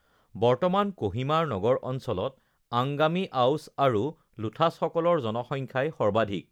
বৰ্তমান ক'হিমাৰ নগৰ অঞ্চলত আংগামি, আওচ আৰু লোথাচসকলৰ জনসংখ্যাই সৰ্বাধিক